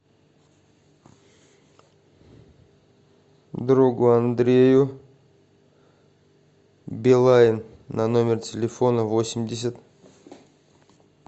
другу андрею билайн на номер телефона восемьдесят